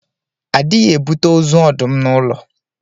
A dịghị ebute ozu ọdụm n'ụlọ.